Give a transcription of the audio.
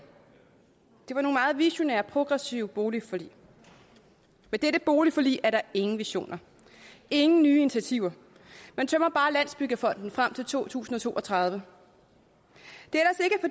det var nogle meget visionære og progressive boligforlig med dette boligforlig er der ingen visioner ingen nye initiativer man tømmer bare landsbyggefonden frem til to tusind og to og tredive